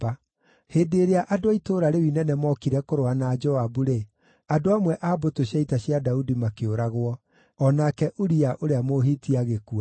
Hĩndĩ ĩrĩa andũ a itũũra rĩu inene mookire kũrũa na Joabu-rĩ, andũ amwe a mbũtũ cia ita cia Daudi makĩũragwo; o nake Uria ũrĩa Mũhiti agĩkua.